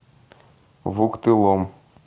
вуктылом